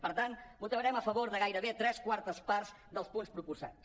per tant votarem a favor de gairebé tres quartes parts dels punts proposats